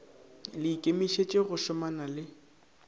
le ikemišetše go šomana le